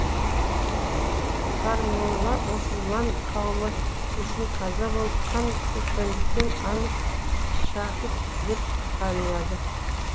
сармолла мұсылман қауымы үшін қаза болып қан төккендіктен анық шәһит деп атанылады